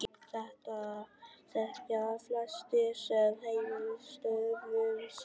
Þetta þekkja flestir sem heimilisstörfum sinna.